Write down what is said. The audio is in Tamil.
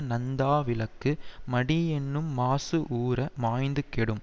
நந்தா விளக்கு மடி என்னும் மாசு ஊர மாய்ந்து கெடும்